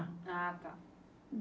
Ah, tá.